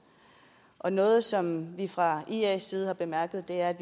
noget som vi fra ias side har bemærket er